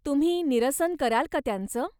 तुम्ही निरसन कराल का त्यांचं?